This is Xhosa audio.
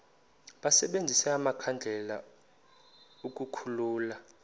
basebenzise amakhandlela ukukhulula